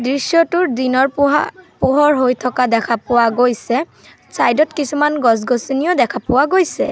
দৃশ্যটোৰ দিনৰ পোহা পোহৰ হৈ থকা দেখা পোৱা গৈছে চাইড ত কিছুমান গছ গছনিও দেখা পোৱা গৈছে।